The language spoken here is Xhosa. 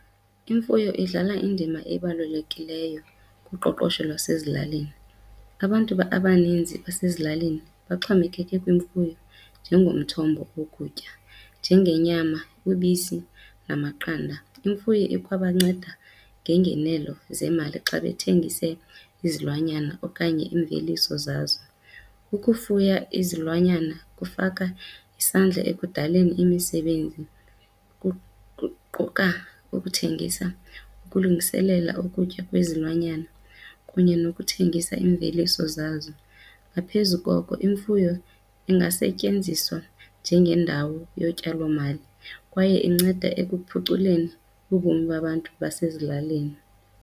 Imfuyo idlala indima ebalulekileyo kuqoqosho lwasezilalini. Abantu abaninzi basezilalini baxhomekeke kwimfuyo njengomthombo wokutya, njengenyama, ubisi namaqanda. Imfuyo ikwabanceda ngeengenelo zeemali xa bethengise izilwanyana okanye iimveliso zazo. Ukufuya izilwanyana kufaka isandla ekudaleni imisebenzi, kuquka ukuthengisa, ukulungiselela ukutya kwezilwanyana kunye nokuthengisa iimveliso zazo. Ngaphezu koko imfuyo ingasetyenziswa njengendawo yotyalomali kwaye inceda ekuphuculeni ubomi babantu basezilalini.